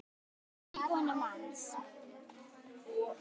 móðir konu manns